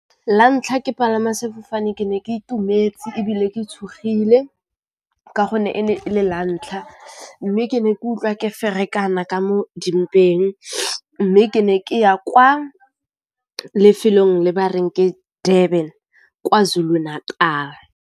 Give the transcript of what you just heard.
Lantlha ke palama sefofane, ke ne ke itumetse ebile ke tshogile ka gonne e ne e le lantlha, mme ke ne ke utlwa ke ferekana ka mo dimpeng, mme ke ne ke ya kwa lefelong le bareng ke Durban, Kwazulu-Natal.